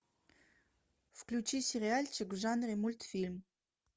включи сериальчик в жанре мультфильм